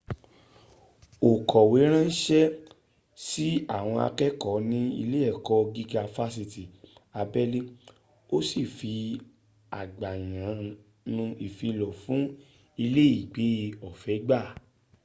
ó kọ̀wé ránṣẹ́ sí àwọn àkẹ́ẹ̀kọ́ ní ilé ẹ̀kọ́ gíga fásitì abẹ́lé ó sì rí àgbàyanu ìfilọ̀ fún iléègbé ọ̀fẹ́ gbà